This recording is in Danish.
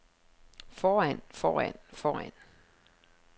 foran foran foran